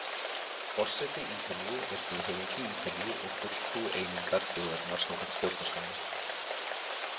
Forseti Ítalíu er þjóðhöfðingi Ítalíu og fulltrúi einingar þjóðarinnar samkvæmt stjórnarskránni.